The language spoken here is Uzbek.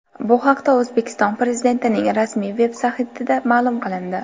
Bu haqda O‘zbekiston Prezidentining rasmiy veb-saytida ma’lum qilindi .